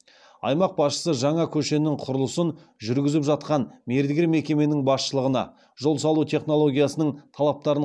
аймақ басшысы жаңа көшенің құрылысын жүргізіп жатқан мердігер мекеменің басшылығына жол салу технологиясының талаптарын